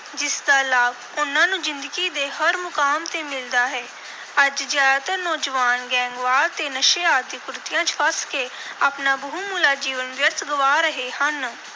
ਜਿਸ ਦਾ ਲਾਭ ਉਨ੍ਹਾਂ ਨੂੰ ਜ਼ਿੰਦਗੀ ਦੇ ਹਰ ਮੁਕਾਮ ਤੇ ਮਿਲਦਾ ਹੈ। ਅੱਜ ਜ਼ਿਆਦਾਤਰ ਨੌਜਵਾਨ ਗੈਂਗਵਾਰ ਤੇ ਨਸ਼ੇ ਆਦਿ ਕੁਰੀਤੀਆਂ ਚ ਫਸ ਕੇ ਆਪਣਾ ਬਹੁਮੁੱਲਾ ਜੀਵਨ ਵਿਅਰਥ ਗਵਾ ਰਹੇ ਹਨ।